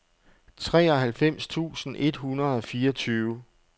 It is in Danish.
treoghalvfems tusind et hundrede og fireogtyve